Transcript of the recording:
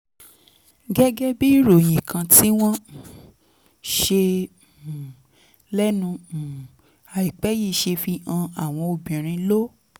gẹ́gẹ́ bí ìròyìn kan tí wọ́n um ṣe um lẹ́nu um àìpẹ́ yìí ṣe fi hàn àwọn obìnrin ló